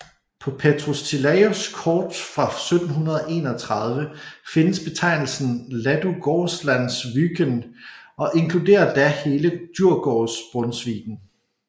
På Petrus Tillaeus kort fra 1731 findes betegnelsen Ladugårdslands Wÿken og inkluderer da hele Djurgårdsbrunnsviken